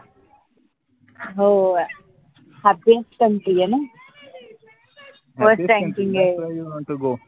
हो Hawkinscountry ए ना?